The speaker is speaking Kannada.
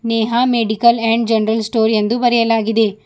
Neha medical and general store ಎಂದು ಬರೆಯಲಾಗಿದೆ.